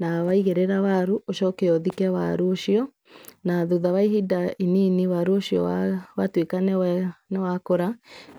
na waigĩrĩra waru, ũcoke ũthike waru ũcio, na thutha wa ihinda inini waru ũcio watuĩka nĩ wa nĩ wa kũra,